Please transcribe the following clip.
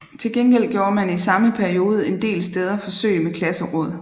Til gengæld gjorde man i samme periode en del steder forsøg med klasseråd